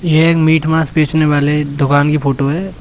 ये एक मीट मांस बेचने वाले दुकान की फोटो है।